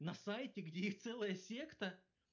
на сайте где есть целая секта